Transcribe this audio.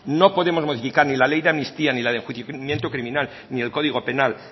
no podemos modificar ni la ley de amnistía ni la de enjuiciamiento criminal ni el código penal